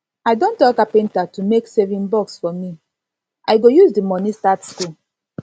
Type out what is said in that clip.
i don tell carpenter to make saving box for me i go use the money start school